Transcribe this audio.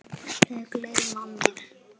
Þau gleymdu mér.